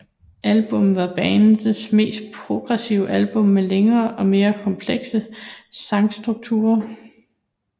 Albummet var bandets meste progressive album med længere og mere komplekse sangstrukturer